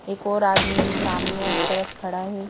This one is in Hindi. एक और आदमी सामने उस तरफ खड़ा है।